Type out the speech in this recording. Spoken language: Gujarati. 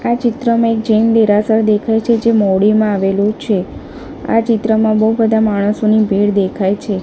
આ ચિત્રમાં એક જૈન દેરાસર દેખાય છે જે મોઉડીમાં આવેલુ છે આ ચિત્રમાં બઉ બધા માણસોની ભીડ દેખાય છે. "